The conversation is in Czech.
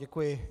Děkuji.